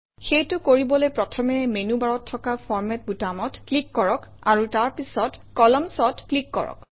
সেইটো কৰিবলৈ প্ৰথমে মেনুবাৰত থকা ফৰমাত বুটামত ক্লিক কৰক আৰু তাৰ পিছত Columns অত ক্লিক কৰক